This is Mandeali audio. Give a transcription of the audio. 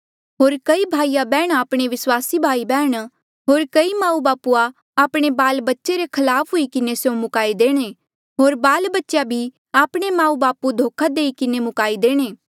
होर कई भाईयाबैहणीया आपणे भाई बैहण होर कई माऊबापू आपणे बाल बच्चे धोखे किन्हें मुकाई देणे होर बाल बच्चेया भी आपणे माऊबापू धोखे किन्हें मुकाई देणे